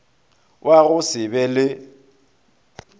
wa go se be le